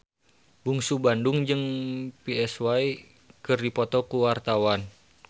Bungsu Bandung jeung Psy keur dipoto ku wartawan